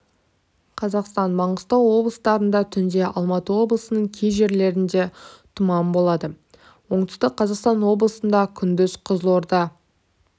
қазақстан маңғыстау облыстарында түнде алматы облысының кей жерлерінде тұман болады оңтүстік қазақстан облысында күндіз қызылорда